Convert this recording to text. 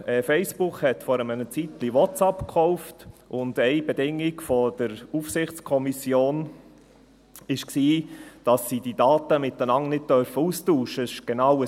Facebook kaufte vor einer Weile WhatsApp gekauft, und eine Bedingung der Aufsichtskommission war, dass sie die Daten untereinander nicht austauschen dürfen.